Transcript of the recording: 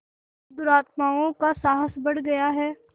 और दुरात्माओं का साहस बढ़ गया है